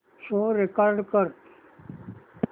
show record कर